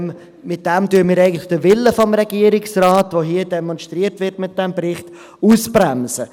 Damit bremsen wir eigentlich den Willen des Regierungsrates aus, den er mit diesem Bericht hier demonstriert.